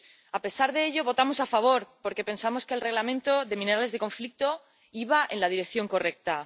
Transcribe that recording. A pesar de ello, votamos a favor, porque pensamos que el Reglamento de minerales de zonas de conflicto iba en la dirección correcta.